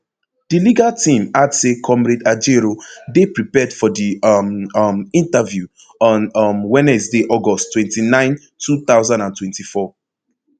di legal team add say comrade ajaero dey prepared for di um um interview on um wednesday august twenty-nine two thousand and twenty-four